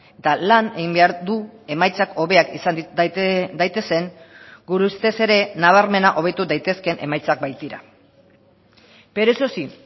eta lan egin behar du emaitzak hobeak izan daitezen gure ustez ere nabarmena hobetu daitezkeen emaitzak baitira pero eso sí